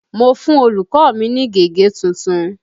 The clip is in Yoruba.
Mo fún olùkọ́ ní gègé tuntun.